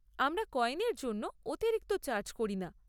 আমরা কয়েনর জন্য অতিরিক্ত চার্জ করি না।